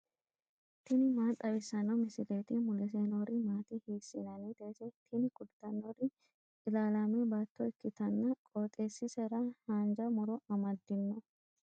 tini maa xawissanno misileeti ? mulese noori maati ? hiissinannite ise ? tini kultannori ilaalaame baatto ikkitanna qooxeessisera haanja muro amaddino.